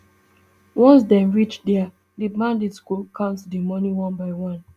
once dem reach dia di bandit go count di moni one by one